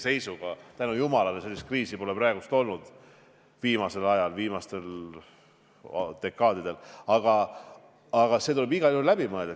Viimasel ajal tänu jumalale sellist kriisi pole olnud, aga see tuleb igal juhul läbi mõelda.